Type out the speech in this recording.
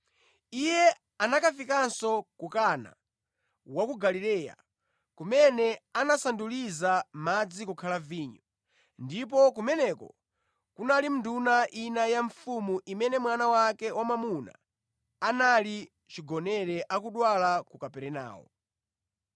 Iye anakafikanso ku Kana wa ku Galileya, kumene anasanduliza madzi kukhala vinyo. Ndipo kumeneko kunali nduna ina ya mfumu imene mwana wake wamwamuna anali chigonere akudwala ku Kaperenawo.